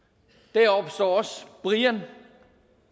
deroppe står også brian